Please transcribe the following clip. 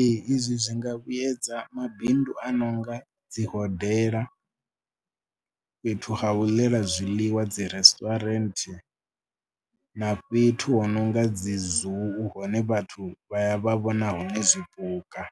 Ee izwi zwi nga vhuedza mabindu a no nga dzi hodela, fhethu ha u ḽela zwiḽiwa dzi restaurant na fhethu hu no nga dzi ZOO hune vhathu vha ya vha vhona hone zwipuka,